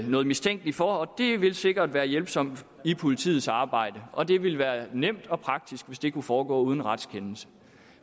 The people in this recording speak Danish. noget mistænkeligt for og det ville sikkert være hjælpsomt i politiets arbejde og det ville være nemt og praktisk hvis det kunne foregå uden retskendelse